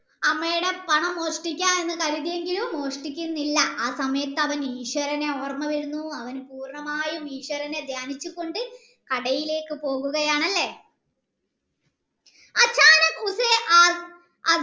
അമ്മയടെ പണം മോഷ്ടിക്ക എന്ന് കരുതിയെങ്കിലും മോഷ്ടിക്കുന്നില്ല ആസമയത്ത് അവൻ ഈശ്വരനെ ഓർമ്മ വരുന്നു അവൻ പൂർണ്ണമായും ഈശ്വരനെ ദ്യാനിച്ചു കൊണ്ട് കടയിലേക്ക് പോവുകയാണ് അല്ലെ